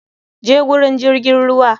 Je zuwa wurin jirgin ruwa.